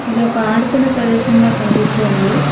ఇది ఒక ఆడుకునే ప్రదేశంలా కానుపిస్తూ ఉంది.